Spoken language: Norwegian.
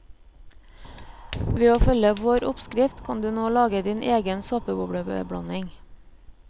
Ved å følge vår oppskrift kan du nå lage din egen såpebobleblanding.